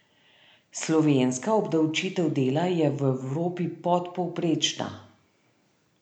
Slovenska obdavčitev dela je v Evropi podpovprečna.